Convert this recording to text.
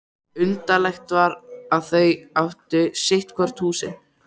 Undarlegt var að þau áttu sitt húsið hvort.